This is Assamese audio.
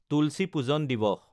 তুলচী পূজন দিৱস